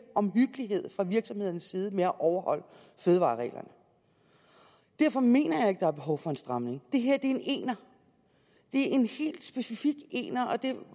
omhyggelighed fra virksomhedernes side med at overholde fødevarereglerne derfor mener jeg ikke at der er behov for en stramning det her er en ener det er en helt specifik ener og det